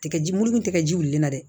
Tigɛji muru dun tɛ kɛ ji wulili la dɛ